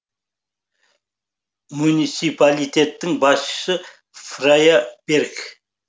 муниципалитеттің басшысы фрайа берг